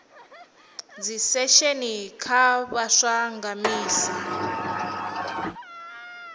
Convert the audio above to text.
dzisesheni kha vhaswa nga misi